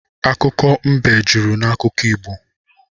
Akụkọ mbe jụrụ n’akụkọ Igbo